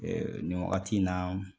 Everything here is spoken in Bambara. nin wagati in na